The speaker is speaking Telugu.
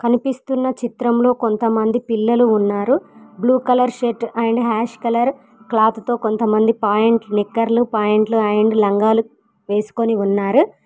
అనిపిస్తున్న చిత్రంలో కొంతమంది పిల్లలు ఉన్నారు blue colour shirt and ash colour cloth తో కొంతమంది పాయింట్ నిక్కర్లు పాయింట్లు అండ్ లంగాలు వేసుకొని ఉన్నారు.